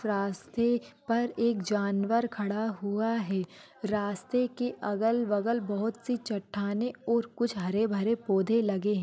रास्ते पर एक जानवर खड़ा हुआ है रास्ते के आस पास बहुत सारी चट्टानें या हरे भरे पोधे लगे हुए है।